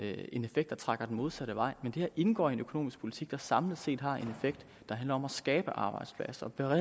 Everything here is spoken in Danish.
modsatte vej men det her indgår i en økonomisk politik der samlet set har en effekt der handler om at skabe arbejdspladser